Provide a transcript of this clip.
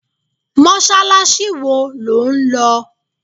Mọ́sálásí wo lo ń lọ?